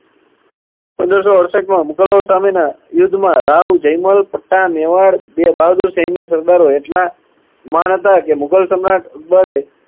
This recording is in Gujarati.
પંદર સો અડસઠમાં મુગલો સામેના યુદ્ધમાં રાઉ જૈમલ પડતા મેવાડ બ~બહાદુર સૈન્ય સરદારો એટલા મહાન હતા કે મુગલ સમ્રાટ અકબરે